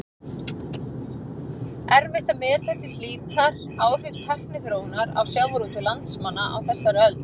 Erfitt er að meta til hlítar áhrif tækniþróunar á sjávarútveg landsmanna á þessari öld.